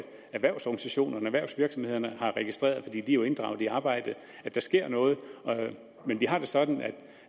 erhvervsorganisationerne erhvervsvirksomhederne har registreret de er jo inddraget i arbejdet at der sker noget men vi har det sådan